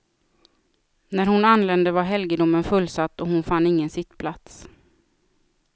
När hon anlände var helgedomen fullsatt och hon fann ingen sittplats.